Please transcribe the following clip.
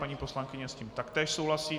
Paní poslankyně s tím také souhlasí.